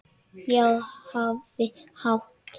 Að ég hafi átt.?